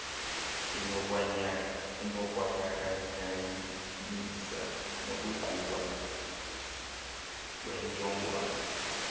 inokwayanyaniswa nokugquba kwentshjolongwane